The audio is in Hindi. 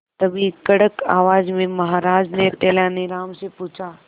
तभी कड़क आवाज में महाराज ने तेनालीराम से पूछा